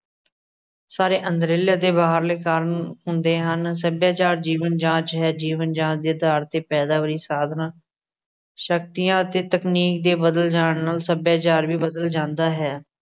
ਸਾਰੇ ਅੰਦਰਲੇ ਅਤੇ ਬਾਹਰਲੇ ਕਾਰਨ ਹੁੰਦੇ ਹਨ। ਸੱਭਿਆਚਾਰ ਜੀਵਨ ਜਾਂਚ ਹੈ। ਜੀਵਨ ਜਾਂਚ ਦੇ ਅਧਾਰ ਤੇ ਪੈਦਾ ਹੋਈ ਸਾਧਨਾ, ਸ਼ਕਤੀਆ ਅਤੇ ਤਕਨੀਕ ਦੇ ਬਦਲ ਜਾਨ ਨੂੰ ਸੱਭਿਆਚਾਰ ਵੀ ਬਦਲ ਜਾਂਦਾ ਹੈ।